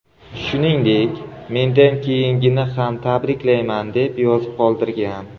Shuningdek, mendan keyingini ham tabriklayman” deb yozib qoldirgan.